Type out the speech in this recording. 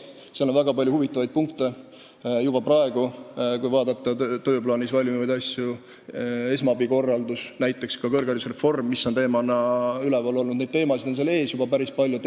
Riigikontrollil on juba praegu ees väga palju huvitavaid asju, kui vaadata punkte tööplaanis, näiteks esmaabi korraldus ja ka kõrgharidusreform, nii et teemasid on ees juba päris palju.